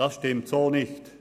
Das stimmt so nicht: